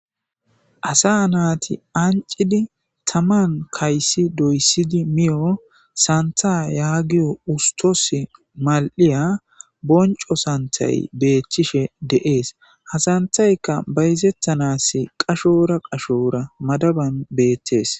Asa naati ancidi taman kayssi doyssidi miyo santha yaagiyo ustos mal'iya bonco santhay beethchishe deees hasanthaykka bayzettanas qashora qashora madaban beettees.